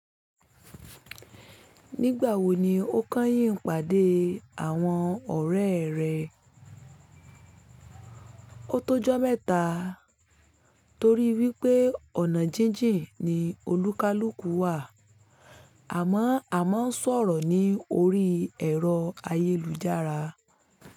Nígbà wo ni ó kányìn pàdé àwọn ọ̀rẹ́ rẹ? O tó jọ́ mẹ́ta torí wípé ọ̀nà jíjìn ni olúkalùkù wà àmọ́ a máa ń sọ̀rọ̀ ní orí ẹ̀rọ ayélujára.